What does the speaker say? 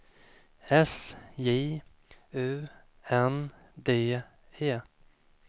S J U N D E